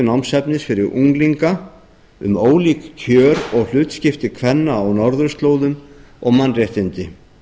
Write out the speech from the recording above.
skyldunámsefnis fyrir unglinga um ólík kjör og hlutskipti kvenna á norðurslóðum og mannréttindi